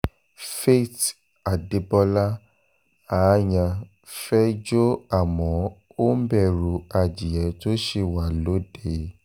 faith adébọlá aáyán fẹ́ẹ́ jó àmọ́ ó ń bẹ̀rù adìẹ tó ṣì wà lóde